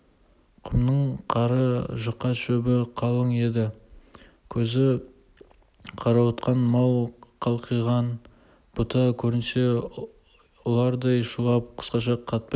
құмның қары жұқа шөбі қалың еді көзі қарауытқан мал қалқиған бұта көрінсе ұлардай шулап қасқырша қаптайды